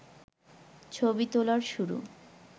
ছবি তোলার শুরু